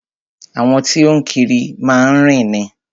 Àwọn tí o ń kiri má ń rìn ni.